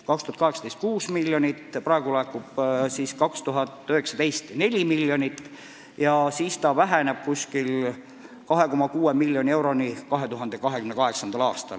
2018. aastal peaks laekuma 6 miljonit, 2019. aastal 4 miljonit ja see summa väheneb umbes 2,6 miljoni euroni 2028. aastal.